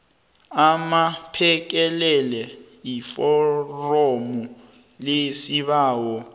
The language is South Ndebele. aphekelele iforomu lesibawo